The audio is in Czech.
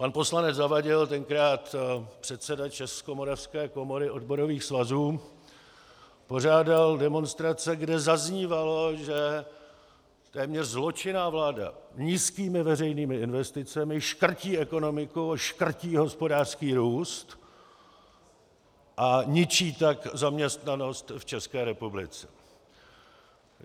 Pan poslanec Zavadil, tenkrát předseda Českomoravské komory odborových svazů, pořádal demonstrace, kde zaznívalo, že téměř zločinná vláda nízkými veřejnými investicemi škrtí ekonomiku, škrtí hospodářský růst, a ničí tak zaměstnanost v České republice.